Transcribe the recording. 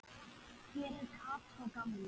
Hver var Kató gamli?